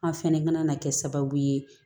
An fɛnɛ ka na na kɛ sababu ye